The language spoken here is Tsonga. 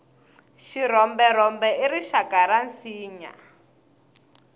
xirhomberhombe i rixaka ra minsinya